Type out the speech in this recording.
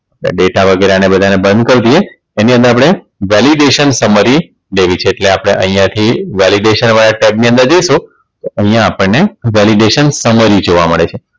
data વગેરે આને બધા ને બંધ કરી દઈએ એની અંદર આપણે Validation Summary લેવી છે એટલે આપણે અહીંયા થી Validation વાળા Tab ની અંદર જઈશું અહીંયા આપણને Validation Summary જોવા મળે છે.